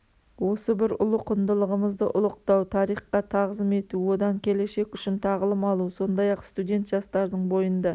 осы бір ұлы құндылығымызды ұлықтау тарихқа тағзым ету одан келешек үшін тағылым алу сондай-ақ студент-жастардың бойында